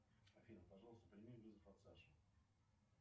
афина пожалуйста прими вызов от саши